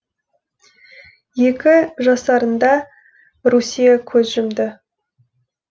екі жасарында русия көз жұмды